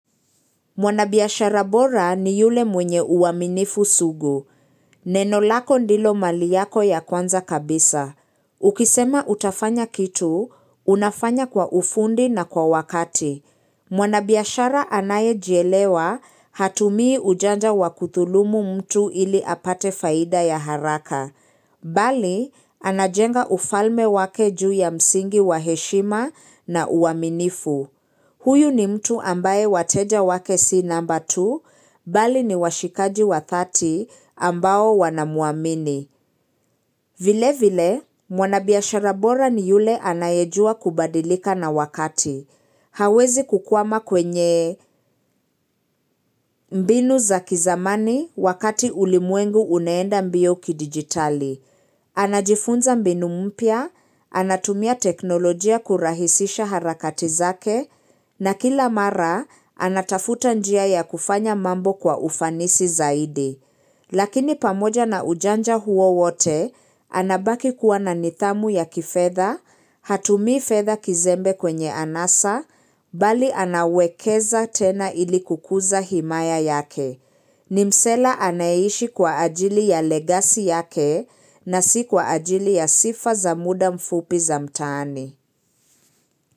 Mwanabiashara bora ni yule mwenye uaminifu sugu. Nenolako ndilo mali yako ya kwanza kabisa. Ukisema utafanya kitu, unafanya kwa ufundi na kwa wakati. Mwanabiashara anaye jielewa hatumii ujanja wakuthulumu mtu ili apate faida ya haraka. Bali, anajenga ufalme wake juu ya msingi wa heshima na uaminifu. Huyu ni mtu ambaye wateja wake si namba tu, Bali ni washikaji wa dhati ambao wanamuamini. Vile vile, mwanabiashara bora ni yule anayejua kubadilika na wakati. Hawezi kukwama kwenye mbinu za kizamani wakati ulimwengu unaenda mbio kidigitali. Anajifunza mbinu mpya, anatumia teknolojia kurahisisha harakati zake, na kila mara anatafuta njia ya kufanya mambo kwa ufanisi zaidi. Lakini pamoja na ujanja huo wote, anabaki kuwa na nidhamu ya kifedha, hatumii fedha kizembe kwenye anasa, bali anawekeza tena ili kukuza himaya yake. Ni msela anayeishi kwa ajili ya legasi yake na si kwa ajili ya sifa za muda mfupi za mtaani.